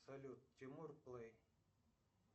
салют тимур плей